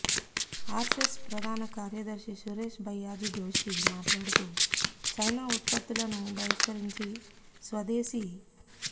ఆరెస్సెస్ ప్రధాన కార్యదర్శి సురేష్ భయ్యాజీ జోషి మాట్లాడుతూ చైనా ఉత్పత్తులను బహిష్కరించి స్వదేశీ